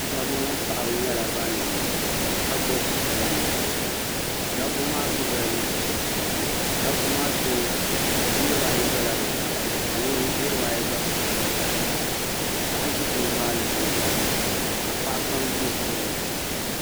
Dabba mini paɣaba nyɛla ban laɣam ʒiya ka gbubi bi kaya niɛma Dabba maa gbubila lunsi dabba maa niraba ayi lola bi zabiri ka niraba ayi gba pini koli koli paɣa ʒi doo maa luɣuli ka paɣa pam ʒi o tooni